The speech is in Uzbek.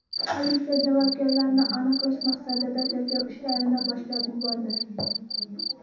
Politsiya javobgarlarni aniqlash maqsadida tergov ishlarini boshlab yubordi.